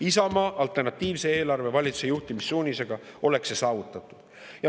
Isamaa alternatiivse eelarve juhtimissuunisega valitsusele oleks see saavutatud.